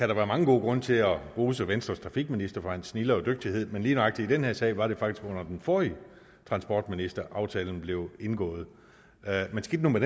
der være mange gode grunde til at rose venstres trafikminister for hans snilde og dygtighed men lige nøjagtig i den her sag var det faktisk under den forrige transportminister aftalen blev indgået men skidt nu med